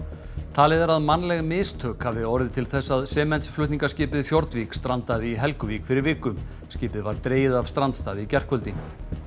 talið er að mannleg mistök hafi orðið til þess að sementsflutningaskipið Fjordvik strandaði í Helguvík fyrir viku skipið var dregið af strandstað í gærkvöldi